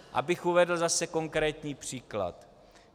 Abych uvedl zase konkrétní příklad.